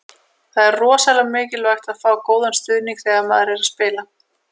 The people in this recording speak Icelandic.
Það er rosalega mikilvægt að fá góðan stuðning þegar maður er að spila.